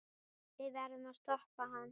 Við verðum að stoppa hann.